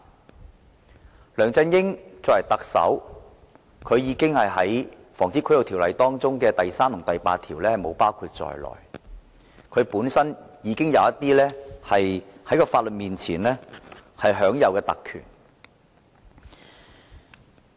然而，梁振英作為特首，並不受《防止賄賂條例》第3條和第8條規限，所以在法律面前已享有某些特權。